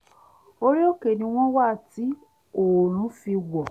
orí òkè ni wọ́n wà tí oòrùn fi wọ̀